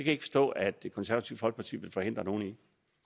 ikke forstå at det konservative folkeparti vil forhindre nogen